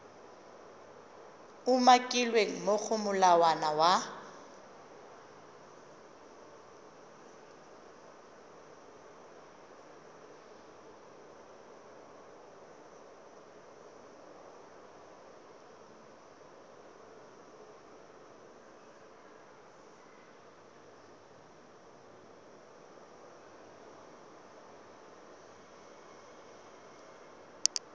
umakilweng mo go molawana wa